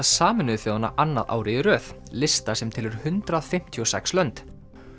Sameinuðu þjóðanna annað árið í röð lista sem telur hundrað fimmtíu og sex lönd